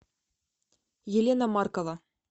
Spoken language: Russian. елена маркова